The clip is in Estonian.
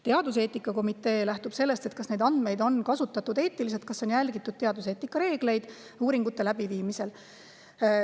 Teaduseetika komitee lähtub sellest, kas neid andmeid on kasutatud eetiliselt, kas on järgitud teaduseetika reegleid uuringute läbiviimisel.